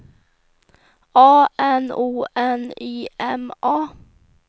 A N O N Y M A